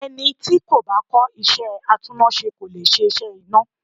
Ẹni tí kò bá kọ́ iṣẹ́ atúnnáṣe kò le ṣiṣẹ́ iná.